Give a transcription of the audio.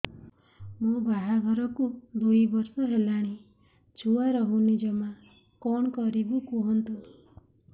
ମୋ ବାହାଘରକୁ ଦୁଇ ବର୍ଷ ହେଲାଣି ଛୁଆ ରହୁନି ଜମା କଣ କରିବୁ କୁହନ୍ତୁ